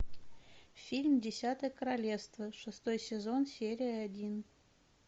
фильм десятое королевство шестой сезон серия один